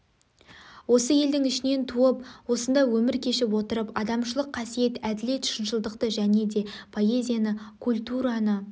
осы елдің ішінен туып осында өмір кешіп отырып адамшалық қасиет әділет шыншылдықты және де поэзияны культураны